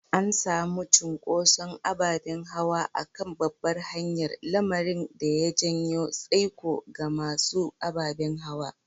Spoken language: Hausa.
An samu cunkoson ababen hawa a kan babbar hanyar, lamarin da ya janyo tsaiko ga masu ababen hawa.